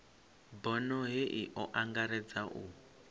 bono hei o angaredza u